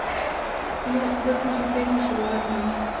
но в это же время желанным